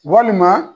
Walima